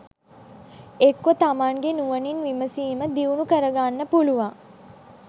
එක්කො තමන්ගේ නුවණින් විමසීම දියුණු කරගන්න පුළුවන්